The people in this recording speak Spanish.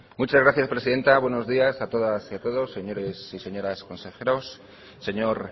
muchas gracias presidenta buenos días a todas y todos señoras y señores consejeros señor